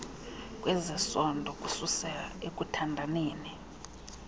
kwezesondo kususela ekuthandaneni